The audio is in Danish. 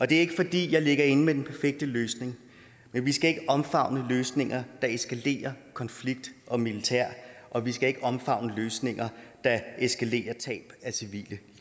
det er ikke fordi jeg ligger inde med den perfekte løsning men vi skal ikke omfavne løsninger der eskalerer konflikt og militær og vi skal ikke omfavne løsninger der eskalerer tab af civile